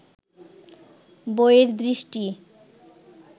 বইয়ের দৃষ্টি